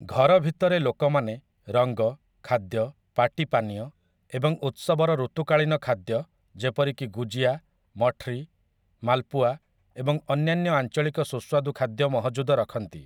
ଘର ଭିତରେ ଲୋକମାନେ ରଙ୍ଗ, ଖାଦ୍ୟ, ପାର୍ଟି ପାନୀୟ ଏବଂ ଉତ୍ସବର ଋତୁକାଳୀନ ଖାଦ୍ୟ ଯେପରିକି ଗୁଜିଆ, ମଠରୀ, ମାଲପୁଆ ଏବଂ ଅନ୍ୟାନ୍ୟ ଆଞ୍ଚଳିକ ସୁସ୍ୱାଦୁ ଖାଦ୍ୟ ମହଜୁଦ ରଖନ୍ତି ।